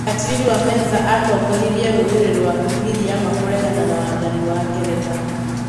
Mekatilili wa Menza nĩ atongoririe rũriri rwa Giriama kũregana na wathani wa Ngeretha.